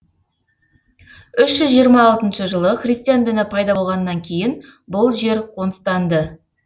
үш жүз жиырма алтыншы жылы христиан діні пайда болғаннан кейін бұл жер қоныстанды